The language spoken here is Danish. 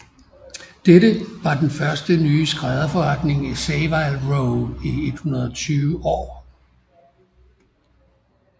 Dette var den første nye skrædderforretning i Savile Row i 120 år